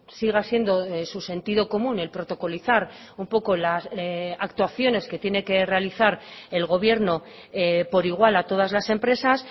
siga siendo su sentidocomún el protocolizar un poco las actuaciones que tiene que realizar el gobierno por igual a todas las empresas